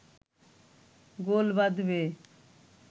গোল বাঁধবে